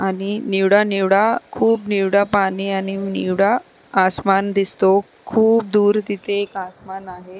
आणि निवडा निवडा खूप निवडा पाणी आणि निवडा आसमान दिसतो खूप दूर तिथे एक आसमान आहे.